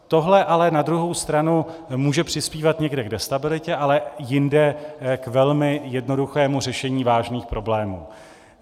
Tohle ale na druhou stranu může přispívat někde k destabilitě, ale jinde k velmi jednoduchému řešení vážných problémů.